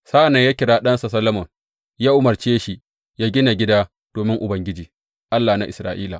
Sa’an nan ya kira ɗansa Solomon ya umarce shi yă gina gida domin Ubangiji, Allah na Isra’ila.